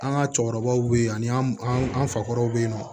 An ka cɛkɔrɔbaw bɛ yen ani an fa kɔrɔw bɛ yen nɔ